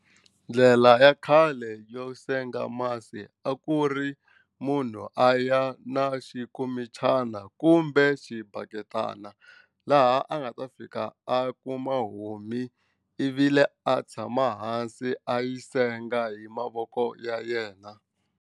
Ndlela ya khale yo senga masi a ku ri munhu a ya na xinkomichana kumbe xibaketani laha a nga ta fika a kuma ivi le a tshama hansi a yi senga hi mavoko ya yena.